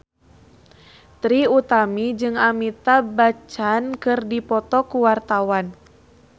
Trie Utami jeung Amitabh Bachchan keur dipoto ku wartawan